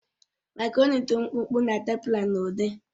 Makaroni dị mkpụmkpụ na tubular n'ụdị